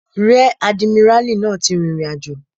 Ríẹ̀ àdìmíràlí náà ti rìn ìrìnàjò